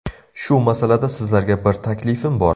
Shu masalada sizlarga bir taklifim bor.